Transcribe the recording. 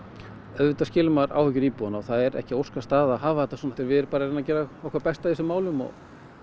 auðvitað skilur maður áhyggjur íbúanna og það er ekki óskastaða að hafa þetta svona við erum bara að reyna að gera okkar besta í þessum málum og